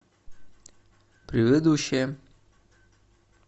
предыдущая